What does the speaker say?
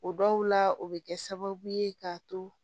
O dɔw la o bɛ kɛ sababu ye k'a to